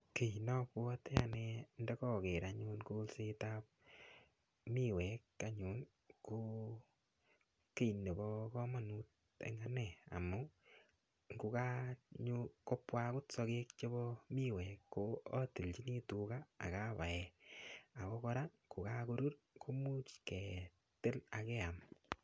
Kii napwoti ane ndikaker anyun kolsetab miwek anyun ko kii nebo komonut eng' ane amun ngukakopwa akot sokek chebo miwek ko atiljini tuga akapae ako kora kokakorur komuuch ketil akeam